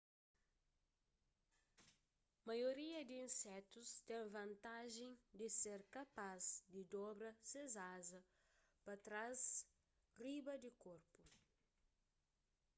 maioria di insetus ten vantajen di ser kapas di dobra ses aza pa trás riba di korpu